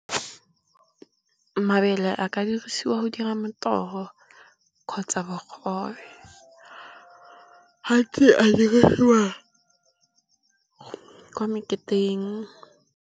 Mabele a ka dirisiwa go dira motogo kgotsa bogobe. Gantsi a diriswa kwa meketeng.